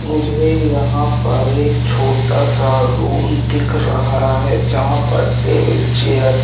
मुझे यहां पर एक छोटा सा रूम दिख रहा है जहां पर टेबिल चेयर --